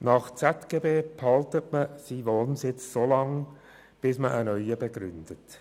Nach dem Schweizerischen Zivilgesetzbuch (ZGB) behält man seinen Wohnsitz solange, bis man einen neuen begründet.